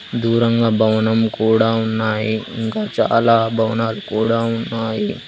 దూరంగా భవనం కూడా ఉన్నాయి ఇంకా చాలా భవనాలు కూడా ఉన్నాయి.